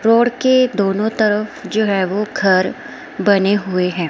Road के दोनों तरफ जो है वो घर बने हुए हैं।